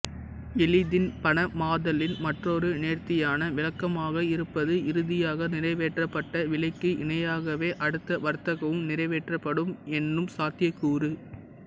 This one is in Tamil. எளிதில் பணமாதலின் மற்றொரு நேர்த்தியான விளக்கமாக இருப்பது இறுதியாக நிறைவேற்றப்பட்ட விலைக்கு இணையாகவே அடுத்த வர்த்தகமும் நிறைவேற்றப்படும் என்னும் சாத்தியக்கூறு